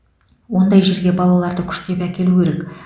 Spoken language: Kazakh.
ондай жерге балаларды күштеп әкелу керек